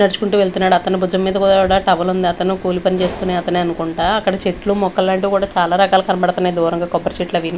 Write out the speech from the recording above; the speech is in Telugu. నడ్చుకుంటూ వెళ్తున్నాడు అతని బుజం మీద కుడా టవలుంది అతనూ కూలి పని చేసుకునే అతనే అనుకుంటా అక్కడ చెట్లు మొక్కలాంటివి కూడా చాలా రకాలు కనబడుతున్నాయి దూరంగా కొబ్బరి చెట్లవి--